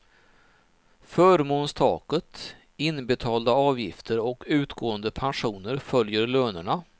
Förmånstaket, inbetalda avgifter och utgående pensioner följer lönerna.